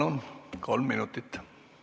Palun, kolm minutit!